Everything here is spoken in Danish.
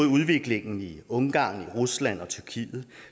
udviklingen i ungarn rusland og tyrkiet